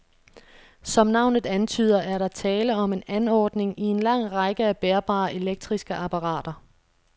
Som navnet antyder, er der tale om en anordning i en lang række af bærbare elektriske apparater.